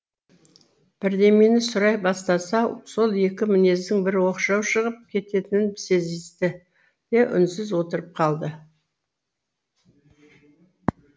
бірдемені сұрай бастаса сол екі мінездің бірі оқшау шығып кететінін сезісті де үнсіз отырып қалды